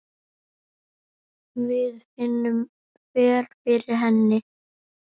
Við finnum vel fyrir henni.